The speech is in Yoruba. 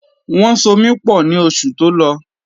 Wọ́n so mi pọ̀ ní oṣù tó lọ.